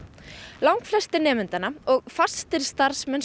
langflestir nemendur og fastir starfsmenn